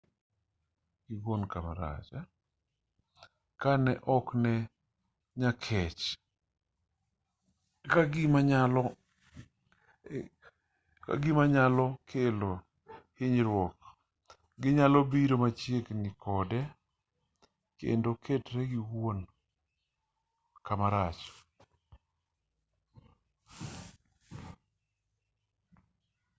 ka ji ok nee nyakech ka gima nyalo kelo hinyruok ginyalo biro machiegni kode kendo ketre giwuon kamarach